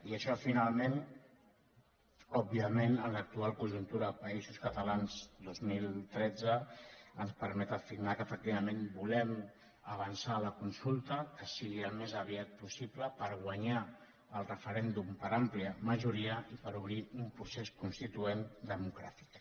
i això finalment òbviament en l’actual conjuntura de països catalans dos mil tretze ens permet afirmar que efec·tivament volem avançar en la consulta que sigui al més aviat possible per guanyar el referèndum per àm·plia majoria i per obrir un procés constituent demo·cràtic